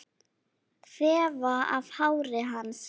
Þefa af hári hans.